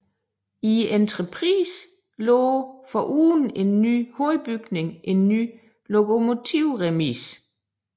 I entreprisen lå foruden en ny hovedbygning en ny lokomotivremise